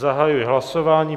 Zahajuji hlasování.